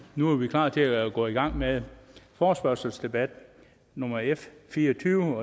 nu er vi klar til at gå i gang med forespørgselsdebat nummer f fireogtyvende